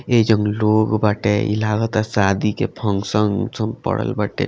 ए जन लोग बाटे इ लागता शादी के फंक्शन ऊंक्शन पड़ल बाटे।